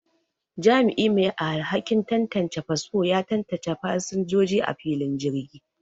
Jami'i mai alhakin tantance fasfo ya tantance fasinjoji a filin jirgi